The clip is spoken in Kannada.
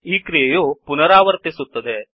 ಈ ಕ್ರಿಯೆಯು ಪುನಾರವರ್ತಿಸುತ್ತದೆ